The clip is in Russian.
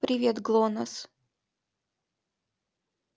привет глонассс